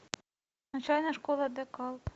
начальная школа де калб